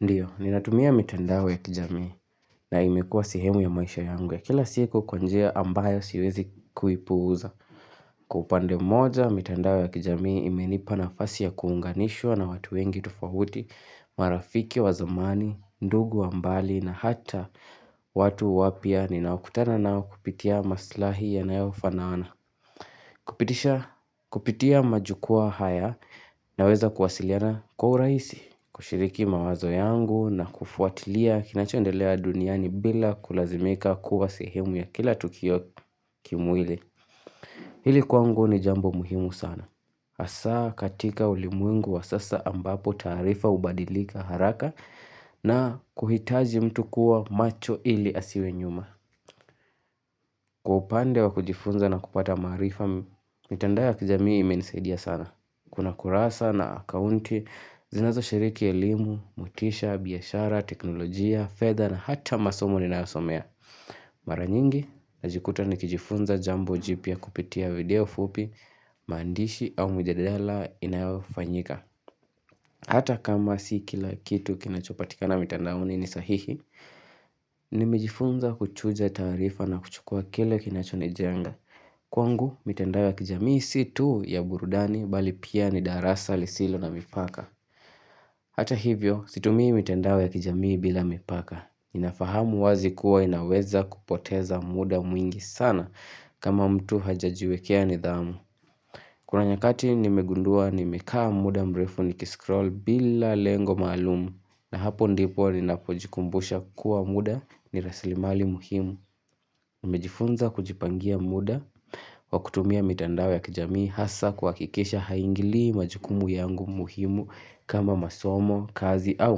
Ndiyo, ninatumia mitandao ya kijamii na imekua sehemu ya maisha yangu ya kila siku kwa njia ambayo siwezi kuipuuza. Kwa upande moja, mitandao ya kijamii imenipa nafasi ya kuunganishwa na watu wengi tofahuti, marafiki, wa zamani, ndugu wa mbali na hata watu wapya, ninaokutana nao kupitia maslahi yanayo fanaana. Kupitia majukua haya naweza kuwasiliana kwa uraisi, kushiriki mawazo yangu na kufuatilia kinachondelea duniani bila kulazimika kuwa sehemu ya kila tukio kimwili. Hili kwangu ni jambo muhimu sana. Asa katika ulimwengu wa sasa ambapo taarifa hubadilika haraka na kuhitaji mtu kuwa macho ili asiwe nyuma. Kwa upande wa kujifunza na kupata maarifa, mitando ya kijamii imenisadia sana. Kuna kurasa na akaunti, zinazo shiriki elimu, motisha, biashara, teknolojia, fedha na hata masomo ninayosomea. Mara nyingi, najikuta nikijifunza jambo jipya kupitia video fupi, mandishi au mjadala inayofanyika. Hata kama si kila kitu kinachopatikana mitandaoni ni sahihi, nimejifunza kuchuja taarifa na kuchukua kile kinachonijenga. Kwangu, mitandao ya kijamii si tuu ya burudani bali pia ni darasa lisilo na mipaka Hata hivyo, situmi mitandao ya kijamii bila mipaka Ninafahamu wazi kuwa inaweza kupoteza muda mwingi sana kama mtu hajajiwekea nidhamu Kuna nyakati nimegundua nimekaa muda mrefu nikiskroll bila lengo maalumu na hapo ndipo ninapojikumbusha kuwa muda ni raslimali muhimu Nimejifunza kujipangia muda Wakutumia mitandao ya kijamii hasa kuhakikisha haingili majukumu yangu muhimu kama masomo, kazi au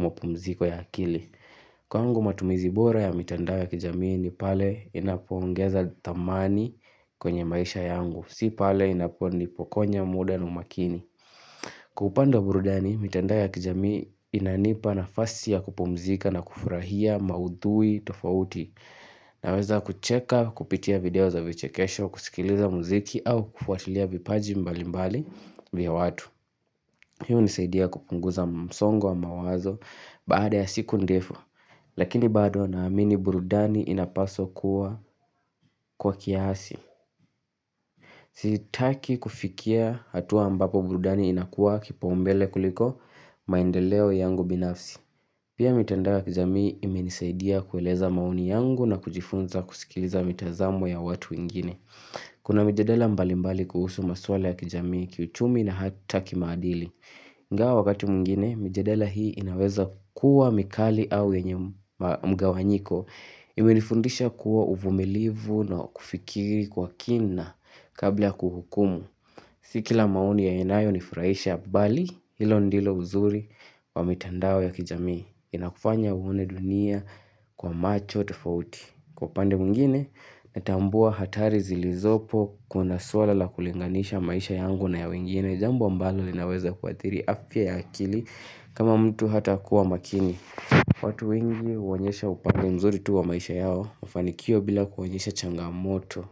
mpumziko ya akili. Kwangu matumizi bora ya mitandao ya kijamii ni pale inapoongeza thamani kwenye maisha yangu. Si pale inaponipokonya muda na makini. Kupanda burudani, mitandao ya kijamii inanipa nafasi ya kupumzika na kufurahia maudhui tofauti. Naweza kucheka kupitia video za vichekesho kusikiliza muziki au kufuatilia vipaji mbali mbali vya watu Hi hunisaidia kupunguza msongo wa mawazo baada ya siku ndefu Lakini bado naamini burudani inapaswa kuwa kwa kiasi Sitaki kufikia hatua ambapo burudani inakuwa kipaumbele kuliko maendeleo yangu binafsi Pia mitandao ya kijamii imenisaidia kueleza maoni yangu na kujifunza kusikiliza mitazamo ya watu wengine. Kuna mijadala mbali mbali kuhusu maswala ya kijamii kiuchumi na hata kimaadili. Ingawaa wakati mwingine, mjadala hii inaweza kuwa mikali au yenye mga wanyiko. Imenifundisha kuwa uvumilivu na kufikiri kwa kina kabla kuhukumu. Si kila maoni ya inayo nifurahisha bali hilo ndilo uzuri wa mitandao ya kijamii. Inakufanya uone dunia kwa macho tafauti Kwa upande mwingine natambua hatari zilizopo kuna suala la kulinganisha maisha yangu na ya wengine jambo ambalo linaweza kuathiri afia ya akili kama mtu hatakuwa makini watu wengi huonyesha upande mzuri tu wa maisha yao mafanikio bila kuwaonyesha changamoto.